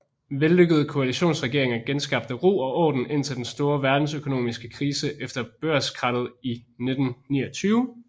Vellykkede koalitionsregeringer genskabte ro og orden indtil den store verdensøkonomiske krise efter børskrakket i 1929